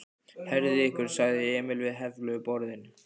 Herðið ykkur sagði Emil við hefluðu borðin.